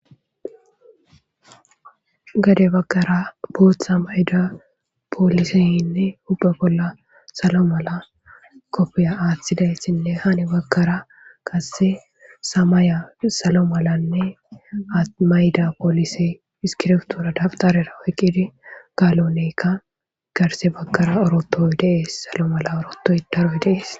gade bagkara bootha mayda pooliseynne hubbe bolla salo mala kopfiya aaththidaythinne hani bagkara qasse samaya salo malanne atmayda poolise iskirtura daftarera oyqidi galonekka garse bagkara orotoy dees salo mala orotodarwe dees